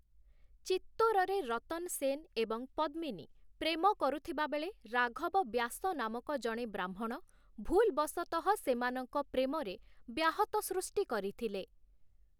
ଚିତ୍ତୋରରେ 'ରତନ ସେନ' ଏବଂ 'ପଦ୍ମିନୀ' ପ୍ରେମ କରୁଥିବାବେଳେ, ରାଘବ ବ୍ୟାସ ନାମକ ଜଣେ ବ୍ରାହ୍ମଣ ଭୁଲ୍‌ବଶତଃ ସେମାନଙ୍କ ପ୍ରେମରେ ବ୍ୟାହତ ସୃଷ୍ଟି କରିଥିଲେ ।